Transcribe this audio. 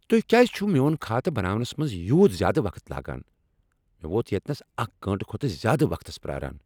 تُہۍ کیٛاز چھو میٚون خاتہٕ بناونس منٛز یٗوت زیادٕ وقت لگان؟ مے٘ ووت یتینس اکھ گٲنٛٹہٕ کھۄتہٕ زیادٕ وقتس پیاران۔